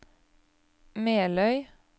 Meløy